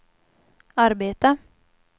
arbeta